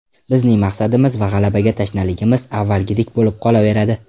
Bizning maqsadimiz va g‘alabaga tashnaligimiz avvalgidek bo‘lib qolaveradi.